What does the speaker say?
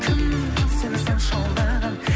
кім сені сонша алдаған